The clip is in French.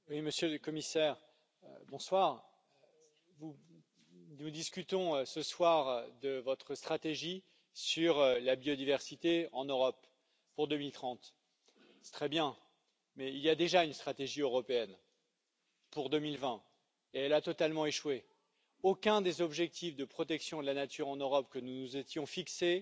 Monsieur le Président, Monsieur le Commissaire, nous discutons ce soir de votre stratégie sur la biodiversité en Europe pour 2030. C'est très bien, mais il y a déjà une stratégie européenne, pour 2020, et elle a totalement échoué. Aucun des objectifs de protection de la nature en Europe que nous nous étions fixés